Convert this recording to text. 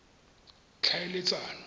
tlhaeletsano